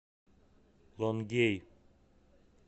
лонгей